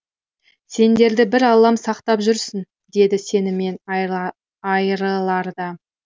сендерді бір аллам сақтап жүрсін деді сенімен айрыларда